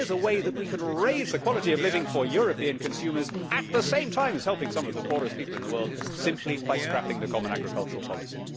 So here is a way that we could raise the quality of living for European consumers at the same time as helping some of the poorest people in the world, simply by scrapping the common agricultural policy.